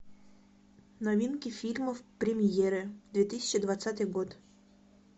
новинки фильмов премьеры две тысячи двадцатый год